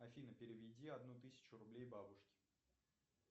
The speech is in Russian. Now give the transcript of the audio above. афина переведи одну тысячу рублей бабушке